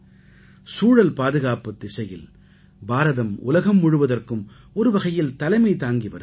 சூழல் பாதுகாப்புத் திசையில் பாரதம் உலகம் முழுவதற்கும் ஒருவகையில் தலைமை தாங்கி வருகிறது